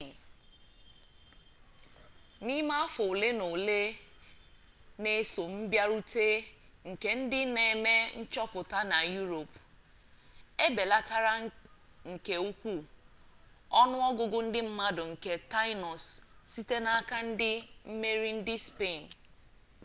n'ime afọ ole na ole na-eso mbịarute nke ndị na-eme nchọpụta na europe e belatara nke ukwuu onu ogugu ndi mmadu nke tainos site n'aka ndị mmeri ndị spain